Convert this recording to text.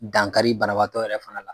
Dankari banabagatɔ yɛrɛ fana la.